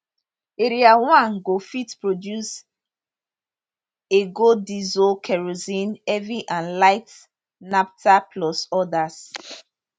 area one go fit produce ago diesel kerosene heavy and light naphtha plus odas